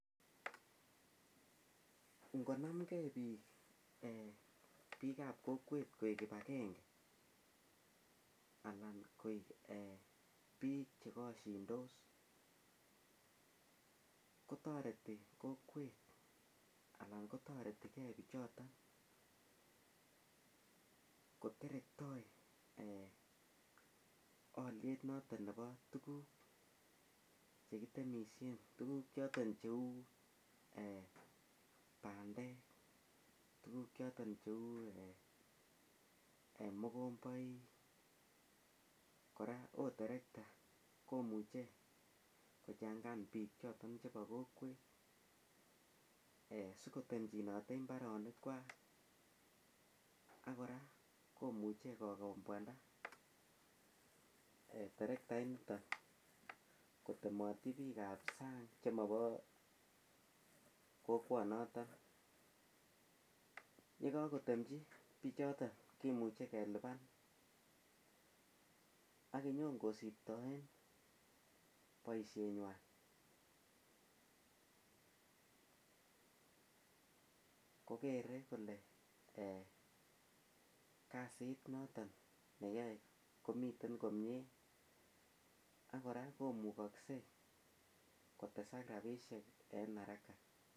Ingonamge bikab kokwet koek kibagenge, anan koek eh bik chekashintos ak kotareti kokwet anan kotareti ke bichoto koterekta aliet noton nebo tukuk chekitemisien chekibo Keny cheuu tukuk choton cheuu mogombet kora akot terekta ketengan bik choto cheba kokwet ih , sikotemchinote imbarenik kwak ak kora komuche kokombuanda terekta inito chebo kokwanoto yekakotemchi kokwanoto kimuche kelubani akonykosibtaen boisiet nyuan kokere kole kasit noton neyae komiten komie akora komekase kotesak rabisiek en haraka